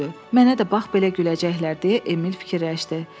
Mənə də bax belə güləcəklər deyə Emil fikirləşdi.